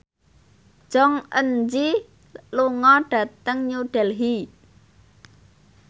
Jong Eun Ji lunga dhateng New Delhi